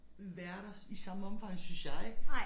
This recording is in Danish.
Værter i samme omfang synes jeg